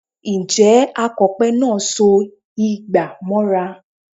Ǹjẹ́ Akọ̀pẹ ń sọ igbà mọ́ra?